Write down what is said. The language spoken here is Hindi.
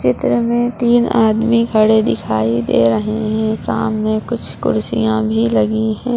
चित्र मे तीन आदमी खड़े दिखाई दे रहे है सामने कुछ कुर्सियां भी लगी है।